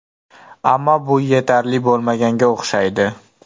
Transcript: Ammo bu yetarli bo‘lmaganga o‘xshaydi.